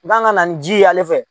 U k'an kana ni ji ye ale fɛ.